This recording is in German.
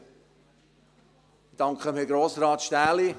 Ich danke Herrn Grossrat Stähli.